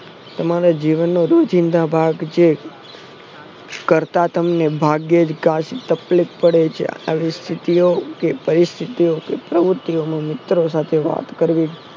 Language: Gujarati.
તમારા જીવનનો રોજીંદા ભાગ છે કરતા તમને ભાગ્યેજ તમને કાચી તકલીફ પડે છે આવી સ્થિતિઓ કે પરીસ્થીઓ કે પ્ર્વુંતીઓનું મિત્ર સાથે વાત કરવી